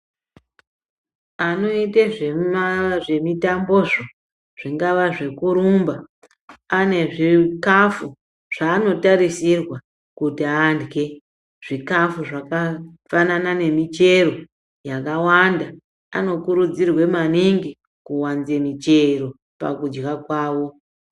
Anoita zve mitambo zvo zvingava zveku rumba ane zvikafu zva ano tarisirwa kuti adye zvikafu zvaka fanana ne michero yaka wanda ano kurudzirwe maningi kuwanze michero pakudya kwawo.